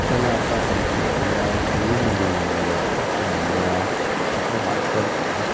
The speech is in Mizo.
thlalaka kan hmuh lai hi lui ni awm tak ani a a hnungah sawn thingku--